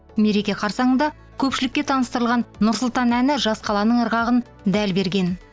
мереке қарсаңында көпшілікке таныстырылған нұр сұлтан әні жас қаланың ырғағын дәл берген